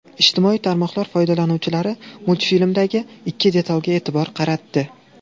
Ijtimoiy tarmoqlar foydalanuvchilari multfilmdagi ikki detalga e’tibor qaratdi.